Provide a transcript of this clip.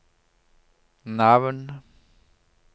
navn